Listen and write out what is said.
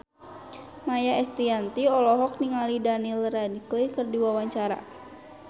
Maia Estianty olohok ningali Daniel Radcliffe keur diwawancara